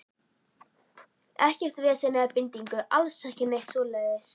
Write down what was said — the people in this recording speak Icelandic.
Ekkert vesen eða bindingu, alls ekki neitt svoleiðis.